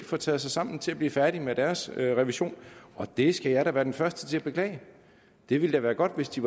få taget sig sammen til at blive færdig med deres revision og det skal jeg da være den første til at beklage det ville da være godt hvis de